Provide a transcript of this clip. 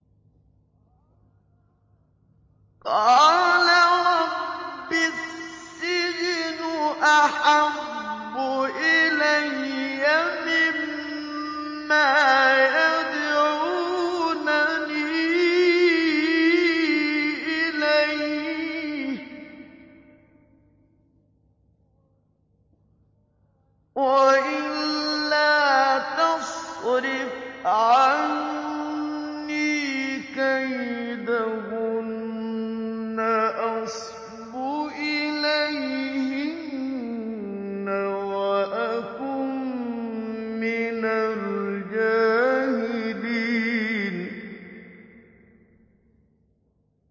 قَالَ رَبِّ السِّجْنُ أَحَبُّ إِلَيَّ مِمَّا يَدْعُونَنِي إِلَيْهِ ۖ وَإِلَّا تَصْرِفْ عَنِّي كَيْدَهُنَّ أَصْبُ إِلَيْهِنَّ وَأَكُن مِّنَ الْجَاهِلِينَ